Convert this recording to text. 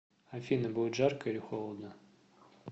афина будет жарко или холодно